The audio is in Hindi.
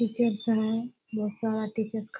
टीचर्स हैं। बहुत सारा टीचर्स ख --